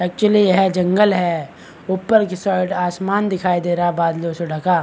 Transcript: actually यह जंगल है ऊपर की साइड आसमान दिखाई दे रहा है बादलों से ढका --